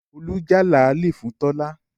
Olú já làálì fún Tọ́lá